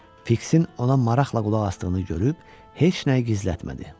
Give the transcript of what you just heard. Fiksin ona maraqla qulaq asdığını görüb heç nəyi gizlətmədi.